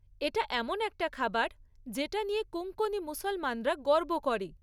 এটা এমন একটা খাবার যেটা নিয়ে কোঙ্কনি মুসলমানরা গর্ব করে।